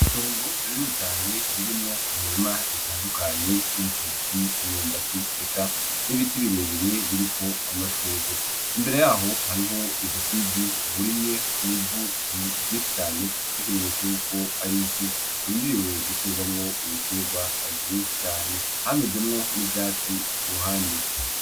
Itongo rinini cane ririmwo imirima itandukanye y'ibitoke n'imyumbati eka n'ibiti birebire biriko amashurwe. Imbere y'aho hariho ubushize burimye mw'ivu ryinshi cane nk'ikimenyetso y'uko ari isi irindiriwe guterwamwo ibiterwa vyinshi cane. Hamezemwo n'ivyatsi ku ruhande.